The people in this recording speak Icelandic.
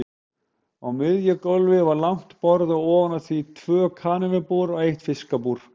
Á miðju gólfi var langt borð og ofan á því tvö kanínubúr og eitt fiskabúr.